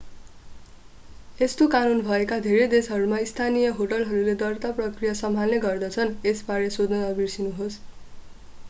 यस्तो कानुन भएका धेरै देशहरूमा स्थानीय होटलहरूले दर्ता प्रक्रिया सम्हाल्ने गर्दछन् यसबारे सोध्न नबिर्सनुहोस्।